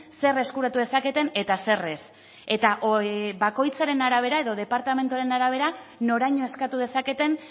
zer eskuratu dezaketen eta zer ez eta bakoitzaren arabera edo departamenduaren arabera noraino eskatu dezaketen